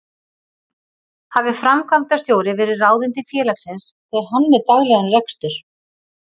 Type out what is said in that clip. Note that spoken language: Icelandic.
Hafi framkvæmdastjóri verið ráðinn til félagsins fer hann með daglegan rekstur.